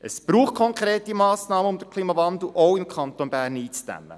– Es braucht konkrete Massnahmen, um den Klimawandel auch im Kanton Bern einzudämmen.